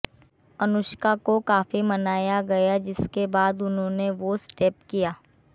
अनुष्का को काफी मनाया गया जिसके बाद उन्होंने वो स्टेप किया